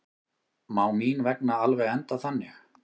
Má mín vegna alveg enda þannig.